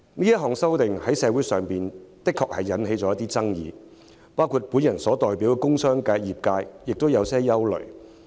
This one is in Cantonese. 這項修訂在社會上的確引起爭議，包括我代表的工商業界亦有憂慮。